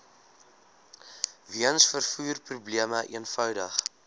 weens vervoerprobleme eenvoudig